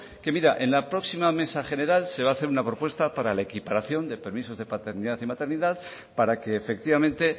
que mira en la próxima mesa general se va a hacer una propuesta para la equiparación de los permisos de paternidad y maternidad para que efectivamente